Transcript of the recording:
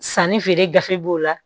Sanni feere gafe b'o la